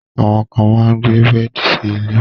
Àwọn kan máa gbé bẹ́ẹ̀di sí ilẹ̀